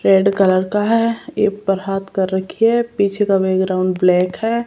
Red colour का हैं ए पर हाथ कर रखी है पीछे का बैकग्राउंड ब्लैक हैं।